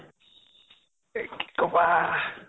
এই কি কʼবা